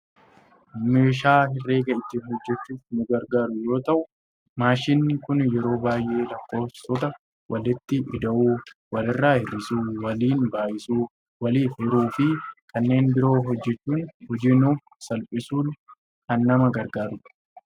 Meeshaa herreega ittiin hojjachuuf nu gargaaru yoo ta'u , maashiniin kun yeroo baayyee lakkoofsota walitti ida'uu walirraa hir'isuu, waliin baayisuu, waliif hiruufi kanneen biroo hojjachuun hojii nuuf salphisuun kan nama gargaarudha.